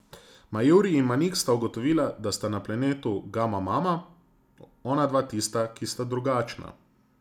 Majuri in Manik sta ugotovila, da sta na planetu Gamamama onadva tista, ki sta drugačna.